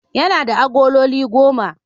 Yana da agololi goma.